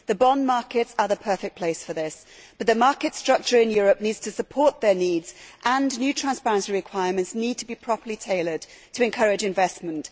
The bond markets are the perfect place for this, but the market structure in Europe needs to support their needs and new transparency requirements need to be properly tailored to encourage investment.